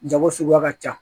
Jago suguya ka ca